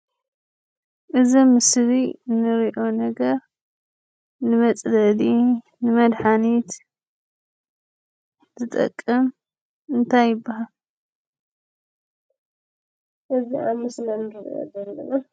እዚ ኣብ ምስሊ ንርኦ ነገር ንመፅለሊ ንመድሓኒት ዝጠቅም እንታይ ይብሃል?